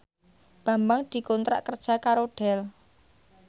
Bambang dikontrak kerja karo Dell